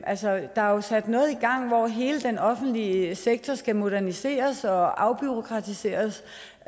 altså der er jo sat noget i gang hvor hele den offentlige sektor skal moderniseres og afbureaukratiseres